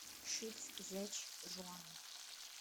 шицзячжуан